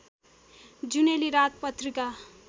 जुनेली रात पत्रिका